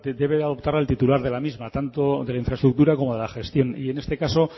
de adoptarla el titular de la misma tanto de la infraestructura como de la gestión y en este caso